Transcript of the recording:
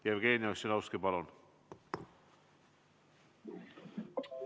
Jevgeni Ossinovski, palun!